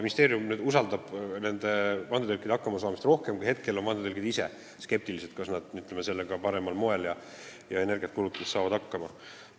Ministeerium usaldab vandetõlke, usub, et nad saavad hakkama, aga hetkel on vandetõlgid ise skeptilised, kas nad saavad sellega parimal moel energiat kulutades hakkama.